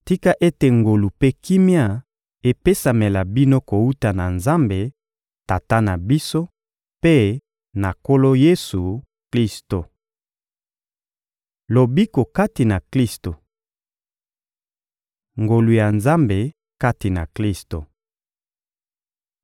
Tika ete ngolu mpe kimia epesamela bino kowuta na Nzambe, Tata na biso, mpe na Nkolo Yesu-Klisto! Lobiko kati na Klisto Ngolu ya Nzambe kati na Klisto